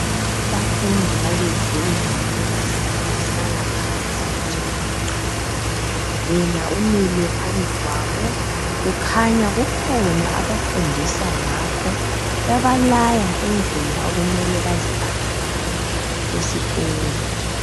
Abafundi babiziwe mgumnumzana bahlala phansi bathi gwaqa, yena umile phambi kwabo kukhanya kukhona abafundisa ngakho ebalaya indlela okume baziphathe ngayo esikolo.